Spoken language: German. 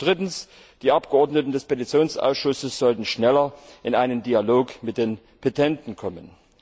Und drittens Die Abgeordneten des Petitionsausschusses sollten schneller in einen Dialog mit den Petenten kommen.